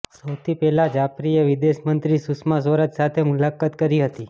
સૌથી પહેલા જાફરીએ વિદેશમંત્રી સુષમા સ્વરાજ સાથે મુલાકાત કરી હતી